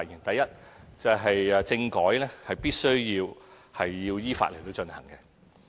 第一，政改必須要依法進行。